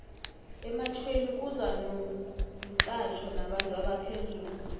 ematjhweni kuza nomxhatjho nabantu abaphezulu